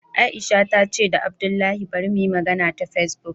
Aisha ta ce da abdullahi bari muyi magana ta Facebook